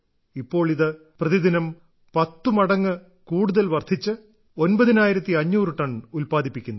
ഇപ്പോൾ ഇത് പ്രതിദിനം 10 മടങ്ങ് കൂടുതൽ വർദ്ധിച്ച് 9500 ടൺ ഉത്പാദിപ്പിക്കുന്നു